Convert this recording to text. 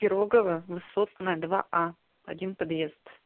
пирогово высотная два а один подъезд